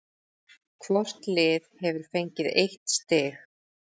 Hvort lið hefur fengið eitt stig